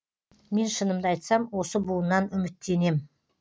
мен шынымды айтсам осы буыннан үміттенем